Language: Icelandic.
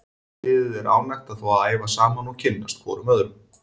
Allt liðið er ánægt að fá að æfa saman og kynnast hvorum öðrum.